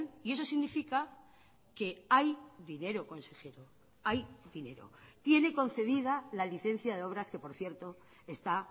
y eso significa que hay dinero consejero hay dinero tiene concedida la licencia de obras que por cierto está